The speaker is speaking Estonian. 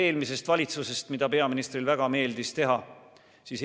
Peaministrile meeldis väga rääkida eelmisest valitsusest.